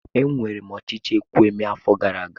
Ewere m ochichi ekwu emee afo gara aga.